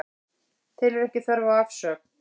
Telur ekki þörf á afsögn